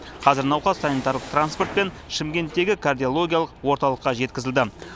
қазір науқас санитарлық транспортпен шымкенттегі кардиологиялық орталыққа жеткізілді